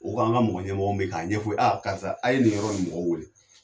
U k'an ka mɔgɔ ɲɛmɔgɔ min be ye k'a ɲɛfɔ o ye ko a karisa a ye nin yɔrɔ nin mɔgɔ wele